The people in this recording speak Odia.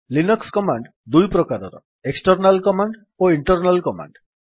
ଲିନକ୍ସ୍ କମାଣ୍ଡ୍ ଦୁଇ ପ୍ରକାରର ଏକ୍ସଟର୍ନାଲ୍ କମାଣ୍ଡ ଓ ଇଣ୍ଟର୍ନାଲ୍ କମାଣ୍ଡ